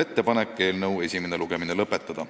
ettepaneku esimene lugemine lõpetada.